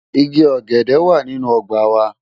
Igi ọ̀gẹ̀dẹ̀ wà nínú ọgbà wa.